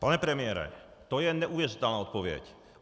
Pane premiére, to je neuvěřitelná odpověď.